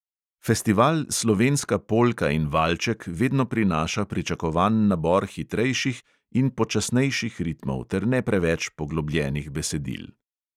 Festival slovenska polka in valček vedno prinaša pričakovan nabor hitrejših in počasnejših ritmov ter ne preveč poglobljenih besedil.